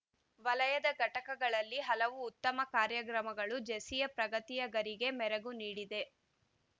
ವಲಯದ ಘಟಕಗಳಲ್ಲಿ ಹಲವು ಉತ್ತಮ ಕಾರ್ಯಕ್ರಮಗಳು ಜೆಸಿಯ ಪ್ರಗತಿಯ ಗರಿಗೆ ಮೆರಗು ನೀಡಿದೆ